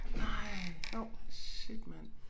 Nej shit mand